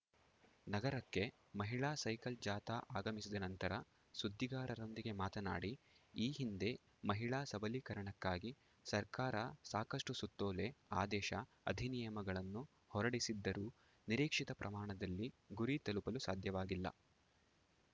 ನಗರಕ್ಕೆ ಮಹಿಳಾ ಸೈಕಲ್‌ ಜಾಥಾ ಆಗಮಿಸಿದ ನಂತರ ಸುದ್ದಿಗಾರರೊಂದಿಗೆ ಮಾತನಾಡಿ ಈ ಹಿಂದೆ ಮಹಿಳಾ ಸಬಲೀಕರಣಕ್ಕಾಗಿ ಸರ್ಕಾರ ಸಾಕಷ್ಟುಸುತ್ತೋಲೆ ಆದೇಶ ಅಧಿನಿಯಮಗಳನ್ನು ಹೊರಡಿಸಿದ್ದರೂ ನಿರೀಕ್ಷಿತ ಪ್ರಮಾಣದಲ್ಲಿ ಗುರಿ ತಲುಪಲು ಸಾಧ್ಯವಾಗಿಲ್ಲ